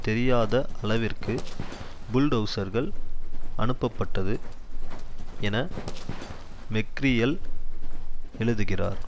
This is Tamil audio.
தெரியாத அளவிற்கு புல்டெளசர்கள் அனுப்பப்பட்டது என மெக்ரியல் எழுதுகிறார்